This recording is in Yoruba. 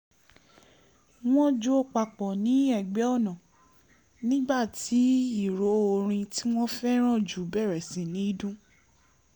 wọ́n jó papọ̀ ní ẹ̀gbẹ́ ọ̀nà nígbà tí ìró orin tí wọ́n fẹ́ràn jù bẹ̀rẹ̀ sí ní dún